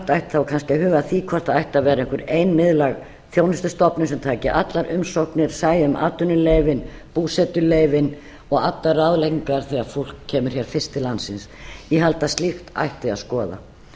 ætti kannski að huga að því hvort það ætti að vera einhver ein miðlæg þjónustustofnun sem tæki allar umsóknir sæi um atvinnuleyfin búsetuleyfin og allar ráðleggingar þegar fólk kemur hér fyrir til landsins ég held að slíkt ætti að skoða